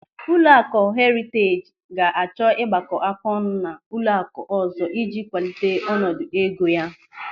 Ụlọakụ Heriteej ga-achọ ịgbakọáká ọnụ na ụlọakụ ọzọ ịji kwalite ọnọdụ ego ya.